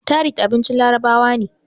tharid abincin larabawa ne